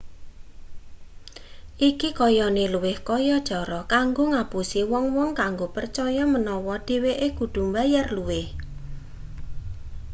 iki kayane luwih kaya cara kanggo ngapusi wong-wong kanggo percaya menawa dheweke kudu mbayar luwih